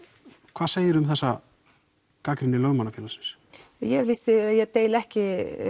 hvað segiru um þessa gagnrýni Lögmannafélagsins ég hef lýst því yfir að ég deili ekki